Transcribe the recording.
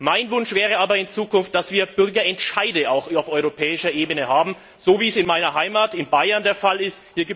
Mein Wunsch wäre aber, dass wir in Zukunft Bürgerentscheide auch auf europäischer Ebene haben, so wie es in meiner Heimat, in Bayern, der Fall ist.